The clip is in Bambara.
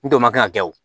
N tɔ ma kɛ ka kɛ o